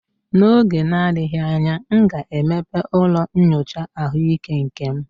N'oge na-adịghị anya, m ga-emepe ụlọ nyocha ahụike nke m